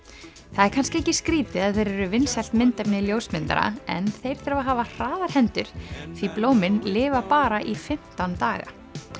það er kannski ekki skrítið að þeir eru vinsælt myndefni ljósmyndara en þeir þurfa að hafa hraðar hendur því blómin lifa bara í fimmtán daga